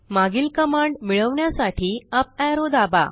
मागील कमांड मिळवण्यासाठी up arrow दाबा